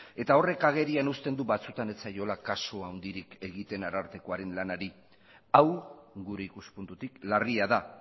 eta horrek agerian uzten du batzuetan ez zaiola kasu handirik egiten arartekoaren lanari hau gure ikuspuntutik larria da